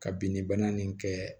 Ka binni bana nin kɛ